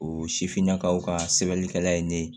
O sifinnakaw ka sɛbɛnnikɛla ye ne ye